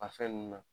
A fɛn nunnu na